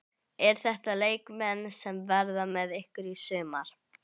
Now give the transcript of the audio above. Eru þetta leikmenn sem verða með ykkur í sumar?